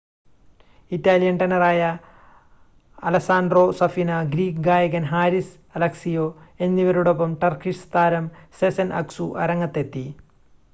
Italian ടെനറായ Alessandro Safina Greek ഗായകൻ Haris Alexiou എന്നിവരോടൊപ്പം ടർക്കിഷ് താരം സെസെൻ അക്‌സു അരങ്ങത്തെത്തി